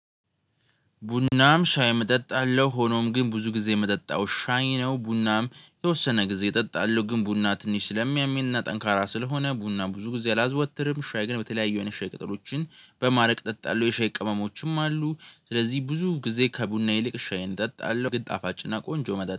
ቡናም ሻይም እጠጣለሁ ሆኖም ግን ብዙ ጊዜ የምጠጣው ሻይ ነው። ቡናም የተወሰነ ጊዜ እጠጣለሁ ግን ቡና ትንሽ ስለሚያመኝና ጠንካራ ስለሆነ ቡና ብዙ ጊዜ አላዘወትርም። ሻይ ግን በተለያዩ አይነት ሻይቅጠሎችን በማረግ ጠጣለሁ የሻይ ቅመሞችም አሉ። ስለዚህ ብዙ ጊዜ ከቡና ይልቅ ሻይን ጠጣለሁ። ግን ጣፋጭና ቆንጆ መጠጥ